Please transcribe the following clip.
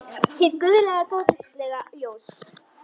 Hið guðlega góðlega ljós.